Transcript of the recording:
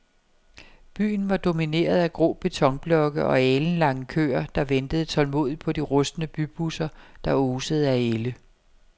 Byen var domineret af grå betonblokke og alenlange køer, der ventede tålmodigt på de rustne bybusser, der osede af ælde.